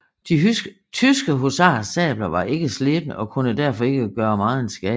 De tyske husarers sabler var ikke slebne og kunne derfor ikke gøre megen skade